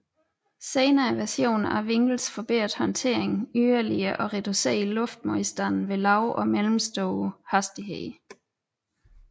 Senere versioner af vinglets forbedrede håndteringen yderligere og reducerede luftmodstande ved lave og middelstore hastigheder